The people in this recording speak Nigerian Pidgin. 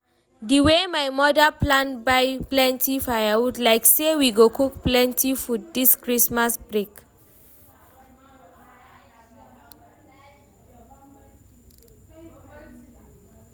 di wey my mother plan buy plenty firewood, like say we go cook plenty food this Christmas break